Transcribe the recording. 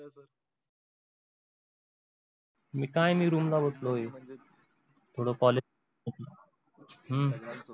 मी काय मी room ला बसलोय थोडं college थोडं हु